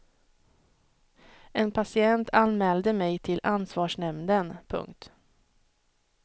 En patient anmälde mig till ansvarsnämnden. punkt